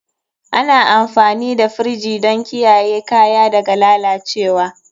Ana amfani da firji don kiyaye kaya daga lalacewa.